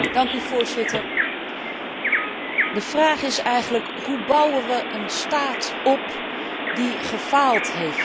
Voorzitter, de vraag is eigenlijk, hoe bouwen we een staat op die gefaald heeft?